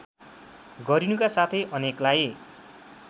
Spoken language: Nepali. गरिनुका साथै अनेकलाई